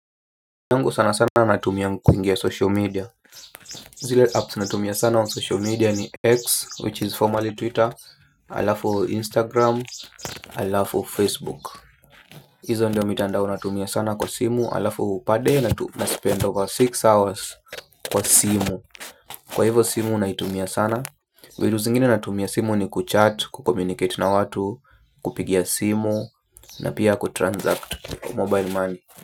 Yangu sana sana natumia kuingia social media. Zile apps natumia sana wa social media ni X which is formerly Twitter halafu Instagram, halafu Facebook. Hizo ndio mitandao natumia sana kwa simu alafu per day na tu naspend over sita hours kwa simu kwa hivo simu naitumia sana vitu zingine natumia simu ni kuchat, ku communicate na watu. Kupigia simu na pia kutransact mobile money.